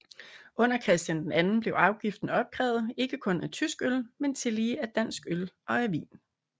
Under Christian II blev afgiften opkrævet ikke kun af tysk øl men tillige af dansk øl og af vin